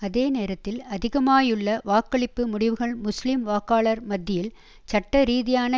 அதேநேரத்தில் அதிகமாகியுள்ள வாக்களிப்பு முடிவுகள் முஸ்லிம் வாக்காளர் மத்தியில் சட்டரீதியான